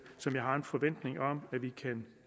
som jeg har en forventning om vi kan